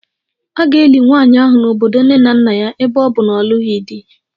A ga-eli nwanyị ahụ n'obodo nne na nna ya ebe ọ bụ na ọ na-alụghị di